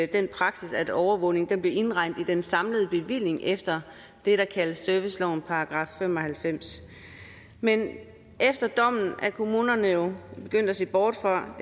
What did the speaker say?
den praksis at overvågning blev indregnet i den samlede bevilling efter det der kaldes servicelovens § fem og halvfems men efter dommen er kommunerne jo begyndt at se bort fra